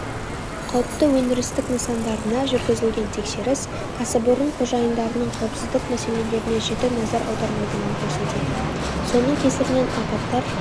қауіпті өндірістік нысандарына жүргізілген тексеріс кәсіпорын қожайындарының қауіпсіздік мәселелеріне жіті назар аудармайтынын көрсетеді соның кесірінен апаттар